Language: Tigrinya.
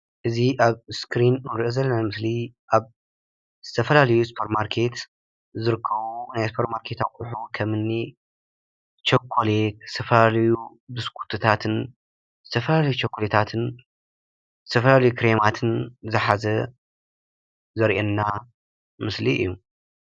እዚ ኣብ እስክሪን ንሪኦ ዘለና ምስሊ ኣብ ዝተፈላለዩ ሱፐር ማርኬት ዝርከቡ ናይ ሱፐር ማርኬት ኣቑሑ ከም እኒ ቸኮሌት፣ ዝተፈላለዩ ብስኩትታትን፣ ዝተፈላለዩ ቸኮሌታትን፣ ዝተፈላለዩ ክሬማትን ዝሓዘ ዘርእየና ምስሊ እዩ፡፡